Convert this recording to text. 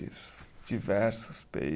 Diversos pei